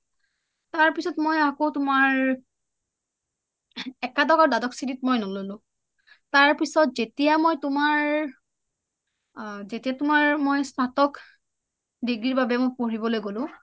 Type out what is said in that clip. তাৰপিছত মই আকৌ তোমাৰ একাদশ আৰু দ্বাদশ শ্ৰেণীত মই নাম ললো তাৰপিছত যেতিয়া মই তোমাৰ যেতিয়া স্নাতক ডিগ্ৰী বাবে মই পঢ়িবলৈ গলোঁ